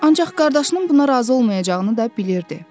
Ancaq qardaşının buna razı olmayacağını da bilirdi.